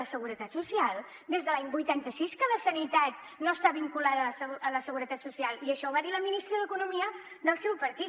la seguretat social des de l’any vuitanta sis que la sanitat no està vinculada a la seguretat social i això ho va dir la ministra d’economia del seu partit